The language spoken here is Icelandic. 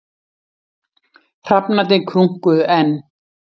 Hrafnarnir krunkuðu enn.